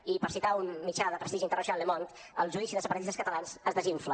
i per citar un mitjà de prestigi internacional le monde el judici dels separatistes catalans es desinfla